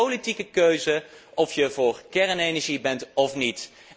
Het is een politieke keuze of je voor kernenergie bent of niet.